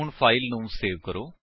ਹੁਣ ਫਾਇਲ ਨੂੰ ਸੇਵ ਕਰੋ